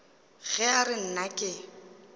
ge a re nna ke